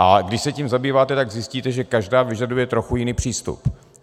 A když se tím zabýváte, tak zjistíte, že každá vyžaduje trochu jiný přístup.